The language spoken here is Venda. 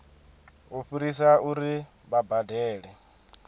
u fhirisa uri vha badele